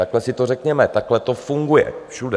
Takhle si to řekněme, takhle to funguje všude.